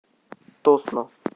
тосно